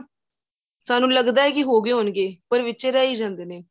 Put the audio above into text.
ਸਾਨੂੰ ਲੱਗਦਾ ਕਿ ਹੋ ਗਏ ਹੋਣਗੇ ਪਰ ਵਿਚੇ ਹੀ ਰਹਿ ਹੀ ਜਾਂਦੇ ਨੇ